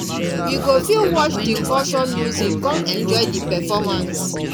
we go fit watch di culture music come enjoy di performance